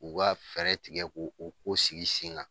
U ka fɛɛrɛ tigɛ k'o o ko sigi sen ŋa.